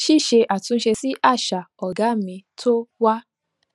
ṣíṣe àtúnṣe sí àṣà ọgá mi tó wà